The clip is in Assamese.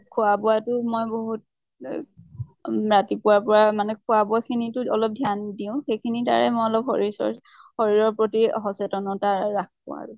খোৱা বোৱা তো মই বহুত এ উম ৰাতিপুৱা ৰ পৰা মানে খোৱা বোৱা খিনি তো অলপ ধ্য়ান দিওঁ, সেইখিনি দ্বাৰায়ে মই অলপ শৰীৰ চৰ্চা, শৰীৰ প্ৰতি সচেতনতা ৰাখো আৰু ।